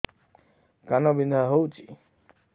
କାନ ବିନ୍ଧା ହଉଛି